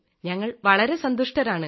ഞങ്ങൾ വളരെ സന്തുഷ്ടരാണ്